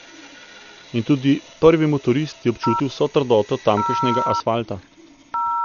In tudi prvi motorist je občutil vso trdoto tamkajšnjega asfalta.